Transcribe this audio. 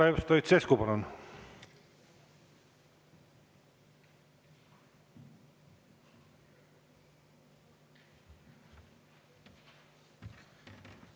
Kalev Stoicescu, palun!